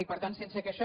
i per tant sense que això